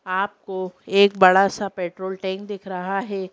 आपको एक बड़ा सा पेट्रोल टैंक दिख रहा है--